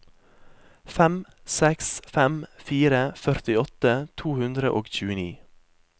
fem seks fem fire førtiåtte to hundre og tjueni